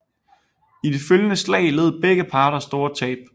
I de følgende slag led begge parter store tab